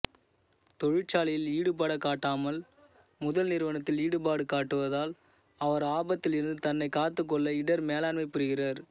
தொழிற்சாலையில் ஈடுபாடுகாட்டாமல் முதல் நிறுவனத்தில் ஈடுபாடு காட்டுவதால் அவர் ஆபத்தில் இருந்து தன்னை காத்துக்கொள்ள இடர் மேலாண்மை புரிகிறார்